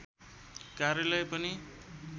कार्यालय पनि